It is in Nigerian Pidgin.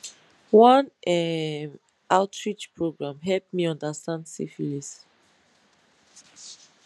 one um outreach program help me understand syphilis